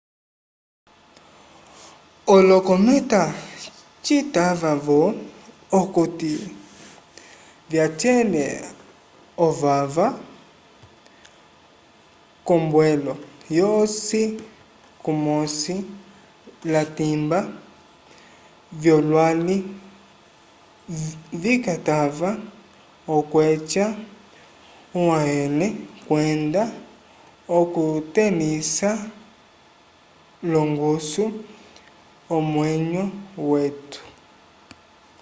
olokometa citava-vo okuti vyacele ovava k'ombwelo yosi kumosi latimba vyolwali vikatava okweca uhayele kwenda okutẽlisa l'ongusu omwenyo wetu